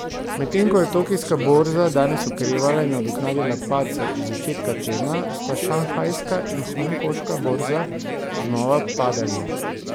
Medtem ko je tokijska borza danes okrevala in nadoknadila padce iz začetka tedna, sta šanghajska in hongkonška borza znova padali.